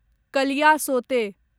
Kaliasote